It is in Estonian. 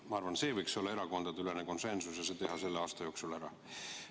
Ma arvan, selleks võiks olemas olla erakondadeülene konsensus ja selle võiks selle aasta jooksul ära teha.